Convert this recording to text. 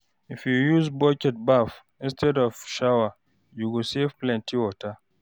If you use bucket bath instead of shower, you go save plenty water.